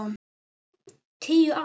Tíu ár?